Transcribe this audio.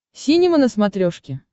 синема на смотрешке